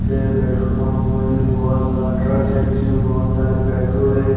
ये petrol pump में बहुत बड़ा ट्रक है जिसमें बहुत सारे पेट्रोल है।